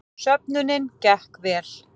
Söfnunin gekk vel